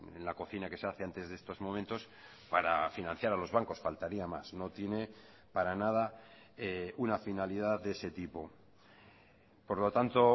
en la cocina que se hace antes de estos momentos para financiar a los bancos faltaría más no tiene para nada una finalidad de ese tipo por lo tanto